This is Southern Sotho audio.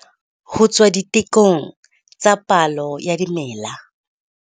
Ho tswa ditekong tsa palo ya dimela.